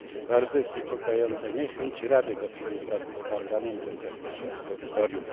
Bardzo jest niepokojąca niechęć Rady do współpracy z Parlamentem w zakresie absolutorium.